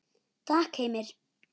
Takk Heimir.